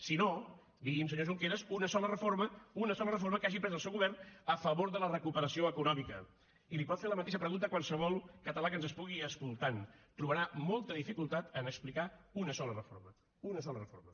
si no digui’m senyor junqueras una sola reforma una sola reforma que hagi pres el seu govern a favor de la recuperació econòmica i li pot fer la mateixa pregunta qualsevol català que ens estigui escoltant trobarà molta dificultat a explicar una sola reforma una sola reforma